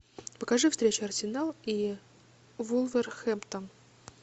покажи встречу арсенал и вулверхэмптон